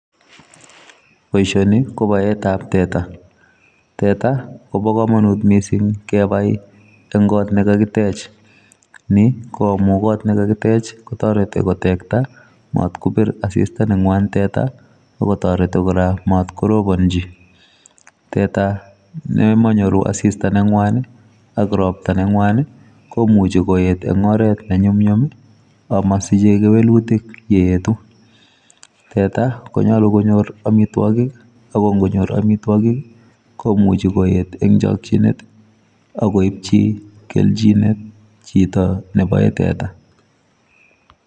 Boisioni ko baet ab teta ,teta kobaa kamanuut missing kebai en koot ne kakiteech ni ko amuun koot nekakiteech ko taretii kotektai maat kibiir asista ne ngwaan teta ako taretii kora mat korobanjii ,teta nemanyoru assista ne ngwaan ak roptaa ne ne ngwaan ii komuchei koyeet en oret ne nyumnyum ii amasichei kewelutiik ye eetu ,teta konyaluu konyoor amitwagiik ako ingonyoor amitwagiik ii komuchei koyeet eng chakyineet ak koipchii keljineet chitoo nebae teta.